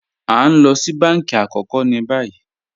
A n lọ sí bánkí àkókò ní bàyì